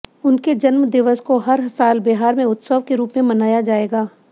उनके जन्मदिवस को हर साल बिहार में उत्सव के रुप में मनाया जाएगा